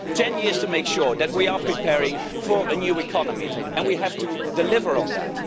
Ten years to make sure that we are preparing for a new economy and we have to deliver on that.